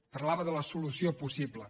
parlava de la solució possible